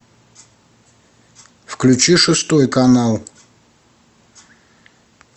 включи шестой канал